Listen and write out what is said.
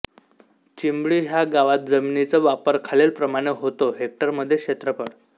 चिंबळी ह्या गावात जमिनीचा वापर खालीलप्रमाणे होतो हेक्टरमध्ये क्षेत्रफळ